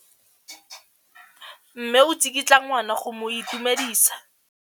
Mme o tsikitla ngwana go mo itumedisa.